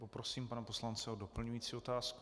Poprosím pana poslance o doplňující otázku.